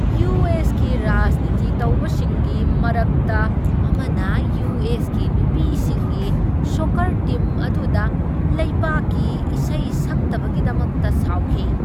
U. S. ꯀꯤ ꯔꯥꯖꯅꯤꯇꯤ ꯇꯧꯕꯁꯤꯡꯒꯤ ꯃꯔꯛꯇ ꯑꯃꯅ ꯌꯨ. ꯑꯦꯁ. ꯀꯤ ꯅꯨꯄꯤꯁꯤꯡꯒꯤ ꯁꯣꯛꯀꯔ ꯇꯤꯝ ꯑꯗꯨꯗ ꯂꯩꯕꯥꯛꯀꯤ ꯏꯁꯩ ꯁꯛꯇꯕꯒꯤꯗꯃꯛꯇ ꯁꯥꯎꯈꯤ ꯫